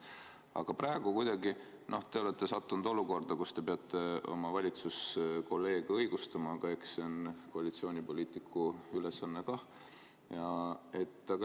Aga praegu olete te sattunud olukorda, kus te peate oma valitsuskolleege õigustama – eks see on koalitsioonipoliitiku ülesanne.